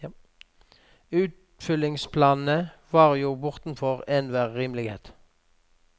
Utfyllingsplanene var jo bortenfor enhver rimelighet.